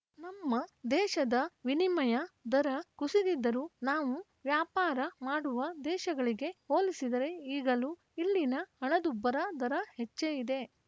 ನಮ್ಮ ದೇಶದ ವಿನಿಮಯ ದರ ಕುಸಿದಿದ್ದರೂ ನಾವು ವ್ಯಾಪಾರ ಮಾಡುವ ದೇಶಗಳಿಗೆ ಹೋಲಿಸಿದರೆ ಈಗಲೂ ಇಲ್ಲಿನ ಹಣದುಬ್ಬರ ದರ ಹೆಚ್ಚೇ ಇದೆ